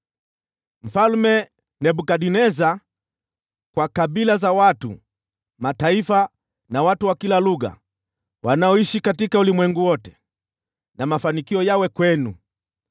Mfalme Nebukadneza, Kwa kabila za watu, mataifa na watu wa kila lugha, wanaoishi katika ulimwengu wote: Mafanikio yawe kwenu sana!